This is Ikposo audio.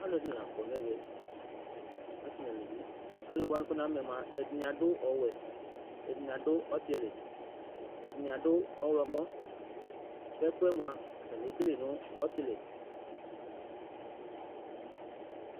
alʊɛɗɩnilaƙɔnʊ ɛʋɛ asɩ nʊ alʊʋɩ alʊwanɩ ɓʊaƙʊ namʊmaƴɛmʊa ɛɗɩnɩaɗʊ ɔwɛ ɛɗɩnɩaɗʊ ɔtɩlɩ ɛɗɩnɩaɗʊ ɔhlɔmɔ ƙʊ ɛfʊƴɛ eƙeleƴɩ nʊ ɔtɩlɩ